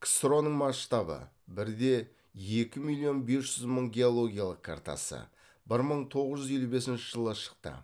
ксро ның масштабы бір де екі миллион бес жүз мың геологиялық картасы бір мың тоғыз жүз елу бесінші жылы шықты